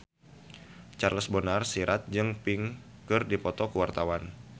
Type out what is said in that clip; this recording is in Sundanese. Charles Bonar Sirait jeung Pink keur dipoto ku wartawan